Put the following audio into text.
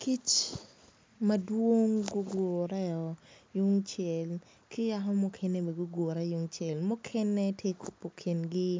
kic mawong gugureo yungcel ki yako mukene bene gugure yungcel mukene tye ka kubu kingi